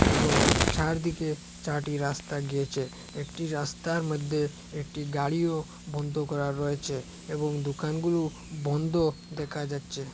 এবং চারদিকে চারটি রাস্তা গিয়েছে একটি রাস্তার মধ্যে একটি গাড়িও বন্ধ করা রয়েছে এবং দোকানগুলো বন্ধ দেখা যাচ্ছে।